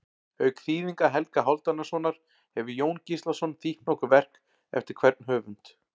Auk þýðinga Helga Hálfdanarsonar hefur Jón Gíslason þýtt nokkur verk eftir hvern höfund.